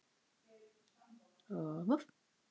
Deyfð og doði.